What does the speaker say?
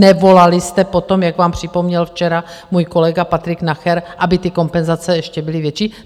Nevolali jste po tom, jak vám připomněl včera můj kolega Patrik Nacher, aby ty kompenzace ještě byly větší?